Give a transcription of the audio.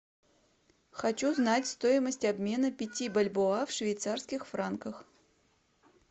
хочу знать стоимость обмена пяти бальбоа в швейцарских франках